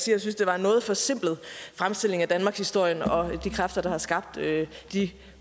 jeg synes det var en noget forsimplet fremstilling af danmarkshistorien og de kræfter der har skabt de